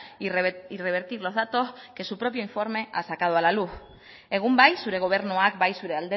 y revertir los datos que su propio informe ha sacado a la luz egun bai zure gobernuak bai zure